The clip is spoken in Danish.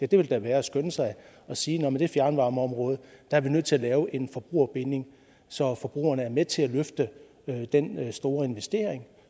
det vil da være at skynde sig at sige at man i det fjernvarmeområde er nødt til at lave en forbrugerbinding så forbrugerne er med til at løfte den store investering